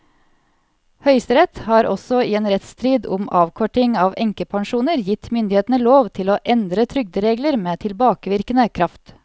Høyesterett har også i en rettsstrid om avkorting av enkepensjoner gitt myndighetene lov til å endre trygderegler med tilbakevirkende kraft.